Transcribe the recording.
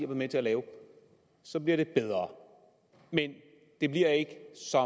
med til at lave så bliver det bedre men det bliver ikke så